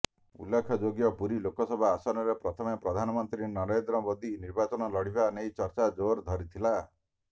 ଉଲ୍ଲେଖଯୋଗ୍ୟ ପୁରୀ ଲୋକସଭା ଆସନରେ ପ୍ରଥମେ ପ୍ରଧାନମନ୍ତ୍ରୀ ନରେନ୍ଦ୍ର ମୋଦୀ ନିର୍ବାଚନ ଲଢିବା ନେଇ ଚର୍ଚ୍ଚା ଜୋର ଧରିଥିଲା